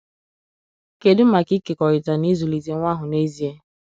Kedu maka ịkekọrịta n'ịzụlite nwa ahụ n'ezie?